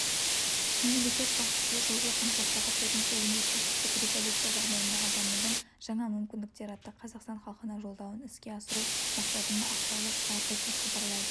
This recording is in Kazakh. мемлекет басшысы жылғы қаңтардағы төртінші өнеркәсіптік революция жағдайындағы дамудың жаңа мүмкіндіктері атты қазақстан халқына жолдауын іске асыру мақсатындақаулы шығарды деп хабарлайды